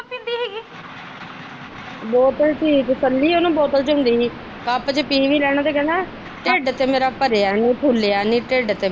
ਬੋਤਲ ਠੀਕ ਕੱਲੀ ਉਹਨੂੰ ਬੋਤਲ ਹੁੰਦੀ ਕੱਪ ਚ ਪੀ ਵੀ ਲੈਣਾ ਤੇ ਕਹਿਣਾ ਢਿੱਡ ਤੇ ਮੇਰਾ ਭਰਿਆ ਨੀ ਫੁਲਿਆ ਨੀ ਢਿੱਡ ਤੇ।